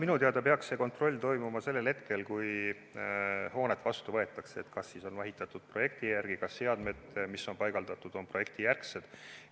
Minu teada peaks see kontroll toimuma sellel hetkel, kui hoonet vastu võetakse, et kas on ehitatud projekti järgi ja kas seadmed, mis on paigaldatud, on projektijärgsed.